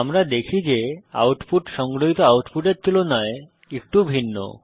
আমরা দেখি যে আউটপুট সংগ্রহিত আউটপুটের তুলনায় একটু ভিন্ন